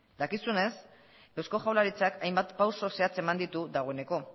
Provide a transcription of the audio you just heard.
dakizuenez eusko jaurlaritzak hainbat pausu zehatz eman ditu dagoeneko